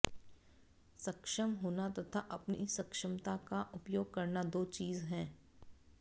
सक्षम होना तथा अपनी सक्षमता का उपयोग करना दो चीज है